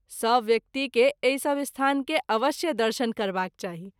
सभ व्यक्ति के एहि सभ स्थान के अवश्य दर्शन करबाक चाही।